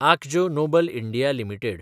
Akzo Nobel India limited